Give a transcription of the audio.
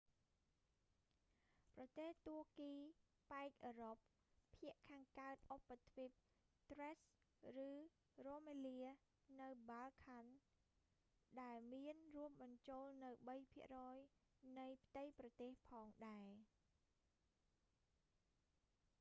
ប្រទេសទួរគីប៉ែកអឺរ៉ុប ភាគខាងកើតឧបទ្វីប thrace ឬ rumelia នៅ balkan បាល់កង់ ដែលមានរួមបញ្ចូលនូវ 3% នៃផ្ទៃប្រទេសផងដែរ